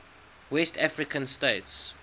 west african states